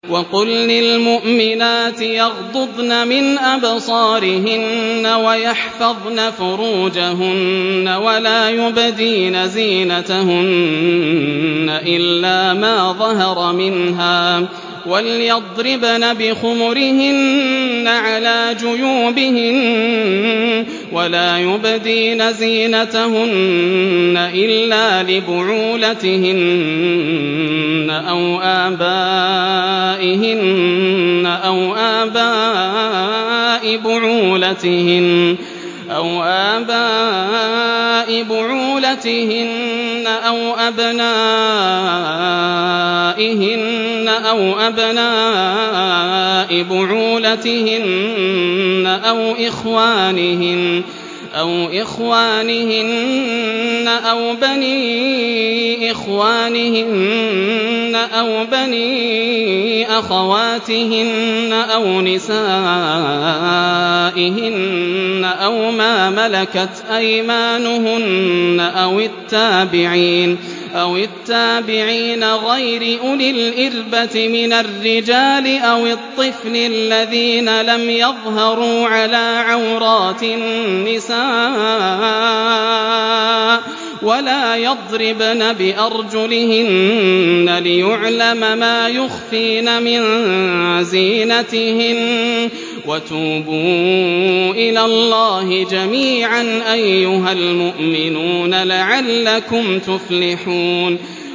وَقُل لِّلْمُؤْمِنَاتِ يَغْضُضْنَ مِنْ أَبْصَارِهِنَّ وَيَحْفَظْنَ فُرُوجَهُنَّ وَلَا يُبْدِينَ زِينَتَهُنَّ إِلَّا مَا ظَهَرَ مِنْهَا ۖ وَلْيَضْرِبْنَ بِخُمُرِهِنَّ عَلَىٰ جُيُوبِهِنَّ ۖ وَلَا يُبْدِينَ زِينَتَهُنَّ إِلَّا لِبُعُولَتِهِنَّ أَوْ آبَائِهِنَّ أَوْ آبَاءِ بُعُولَتِهِنَّ أَوْ أَبْنَائِهِنَّ أَوْ أَبْنَاءِ بُعُولَتِهِنَّ أَوْ إِخْوَانِهِنَّ أَوْ بَنِي إِخْوَانِهِنَّ أَوْ بَنِي أَخَوَاتِهِنَّ أَوْ نِسَائِهِنَّ أَوْ مَا مَلَكَتْ أَيْمَانُهُنَّ أَوِ التَّابِعِينَ غَيْرِ أُولِي الْإِرْبَةِ مِنَ الرِّجَالِ أَوِ الطِّفْلِ الَّذِينَ لَمْ يَظْهَرُوا عَلَىٰ عَوْرَاتِ النِّسَاءِ ۖ وَلَا يَضْرِبْنَ بِأَرْجُلِهِنَّ لِيُعْلَمَ مَا يُخْفِينَ مِن زِينَتِهِنَّ ۚ وَتُوبُوا إِلَى اللَّهِ جَمِيعًا أَيُّهَ الْمُؤْمِنُونَ لَعَلَّكُمْ تُفْلِحُونَ